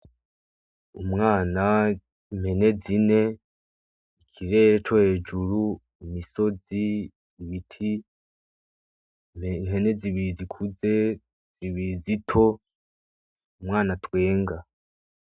Umwana impene zine ikirere co hejuru imisozi ibiti ihene zibiri zikuze zibiri zito umwana atwenga.